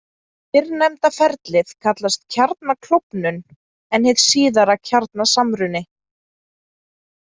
Fyrrnefnda ferlið kallast kjarnaklofnun en hið síðara kjarnasamruni.